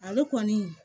Ale kɔni